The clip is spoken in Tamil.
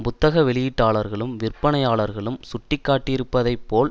புத்தக வெளியீட்டார்களும் விற்பனையாளர்களும் சுட்டிக்காட்டியிருப்பதைப் போல்